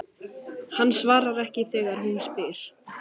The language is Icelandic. Hann svarar ekki þegar hún spyr.